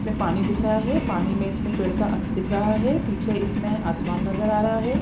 इसमें पानी दिख रहा है पानी में इसमें पेड़ का अक्ष दिख रहा है पीछे इसमें आसमान नजर आ रहा है।